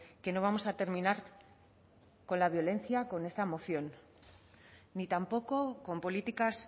que no vamos a terminar con la violencia con esta moción ni tampoco con políticas